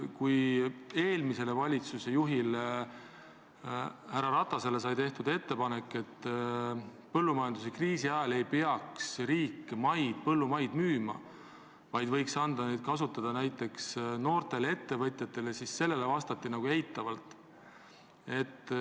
Kui eelmisele valitsusjuhile härra Ratasele sai tehtud ettepanek, et põllumajanduskriisi ajal ei peaks riik põllumaad müüma, vaid võiks anda seda kasutada näiteks noortele ettevõtjatele, siis sellele vastati eitavalt.